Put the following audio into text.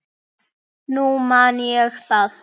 Nú man ég það!